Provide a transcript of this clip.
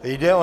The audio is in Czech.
Jde o